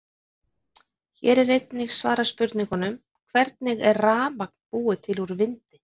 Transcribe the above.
Hér er einnig svarað spurningunum: Hvernig er rafmagn búið til úr vindi?